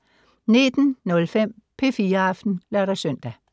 19:05: P4 Aften (lør-søn)